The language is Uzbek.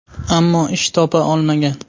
Ammo ish topa olmagan.